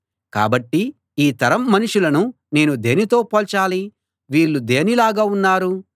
కాబట్టి ఈ తరం మనుషులను నేను దేనితో పోల్చాలి వీళ్ళు దేనిలాగా ఉన్నారు